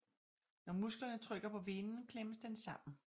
Når musklerne trykker på venen klemmes den sammen